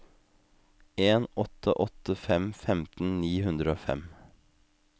en åtte åtte fem femten ni hundre og fem